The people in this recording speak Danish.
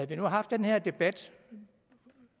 vi nu haft den her debat